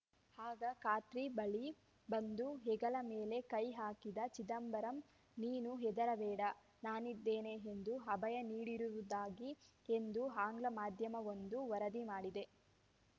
ಆಗ ಕಾರ್ತಿ ಬಳಿ ಬಂದು ಹೆಗಲ ಮೇಲೆ ಕೈಹಾಕಿದ ಚಿದಂಬರಂ ನೀನು ಹೆದರಬೇಡ ನಾನಿದ್ದೇನೆ ಎಂದು ಅಭಯ ನೀಡಿರುವುದಾಗಿ ಎಂದು ಆಂಗ್ಲ ಮಾಧ್ಯಮವೊಂದು ವರದಿ ಮಾಡಿದೆ